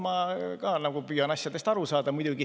Ma ka püüan asjadest aru saada, seda muidugi.